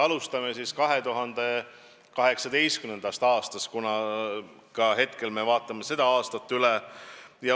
Alustame siis 2018. aastast, kuna hetkel me vaatame seda aastat üle.